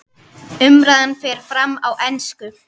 Umræðan fer fram á ensku.